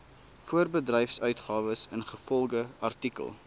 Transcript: voorbedryfsuitgawes ingevolge artikel